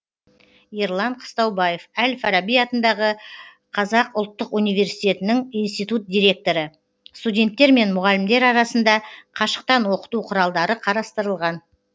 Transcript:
ерлан қыстаубаев әл фараби атындағы қазақ ұлтты университетінің институт директоры студенттер мен мұғалімдер арасында қашықтан оқыту құралдары қарастырылған